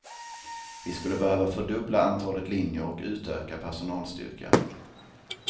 Vi skulle behöva fördubbla antalet linjer och utöka personalstyrkan.